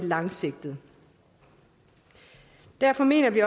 langsigtet derfor mener vi